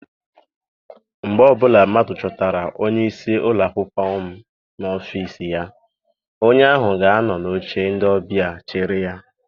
Mgbe ọbụla mmadụ chọtara onyeisi ụlọakwụkwọ m n'ọfịịsi ya, onye ahụ ga anọ n'oche ndị ọbịa chere ya.